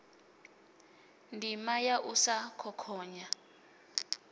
ndima ya u sa khokhonya